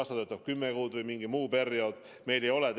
Kas ta töötab kümme kuud või mingi muu perioodi jooksul?